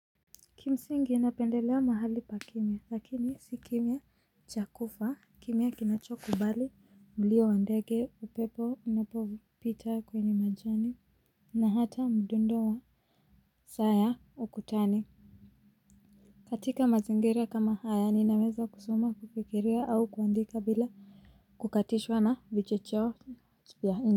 Kimsingi napendelea mahali pa kimia lakini si kimia cha kufa kimia kinachokubali mlio wa ndege upepo unapopita kwenye majani na hata mdundo wa saa ya ukutani. Katika mazingira kama haya ninaweza kusoma kufikiria au kuandika bila kukatishwa na vichecheo vya.